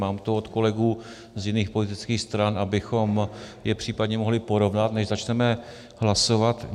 Mám to od kolegů z jiných politických stran, abychom je případně mohli porovnat, než začneme hlasovat.